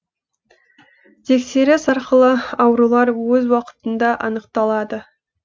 тексеріс арқылы аурулар өз уақытында анықталады